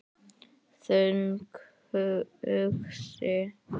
Þungt hugsi?